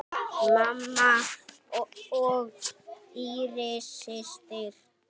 Mamma og Íris systir.